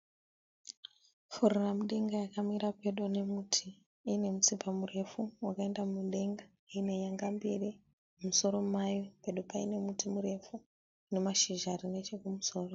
Furiramudenga yakamira pedo nemuti iine mutsipa murefu wakaenda mudenga iine nenyanga mbiri mumusoro mayo pedo paine muti murefu nemashizha ari nechekumusoro.